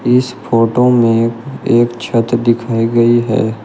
इस फोटो में एक छत दिखाई गई है।